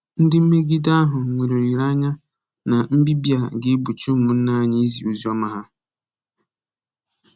Ndị mmegide ahụ nwere olileanya na nbibi a ga-egbochi ụmụnna anyị izi oziọma ha